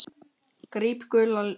Gríp gula tuðru.